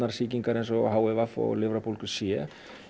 sýkingar eins og h i v og lifrarbólgu c